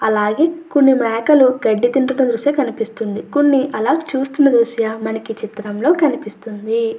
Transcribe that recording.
అలాగే కొన్ని మేకలు గడ్డి తింటున్న దృశ్య కనిపిస్తుంది. కొన్ని అలా చూస్తున్న దృశ్య ఈ చిత్రంలో కనిపిస్తుంది.